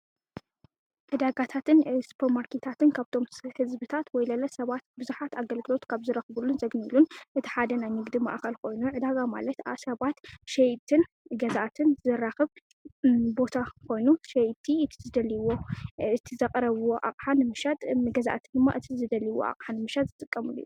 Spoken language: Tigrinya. ዕዳጋታትን ሱፐር ማርኪታትን ካብቶም ሕዝብታት ወይለለ ሰባት ብዙሓት ኣገልግሎት ካብ ዝረኽቡሉን ዘግልግሉን እቲ ሓደ ናይ ንግዲ ማኣኸል ኾይኑ ዕዳጋ ማለት ሰባት ሸየጥትን ገዛኣትን ዘራኽብ ቦታ ኾይኑ ሸየጥቲ እቲ ዝደልይዎ እቲ ዘቐረብዎ ኣቕሓ ንምሻጥ ፣ገዛእቲ ድማ እቲ ዝደልይዎ ኣቕሓ ንምሻጥ ዝጥቀሙሉ እዩ፡፡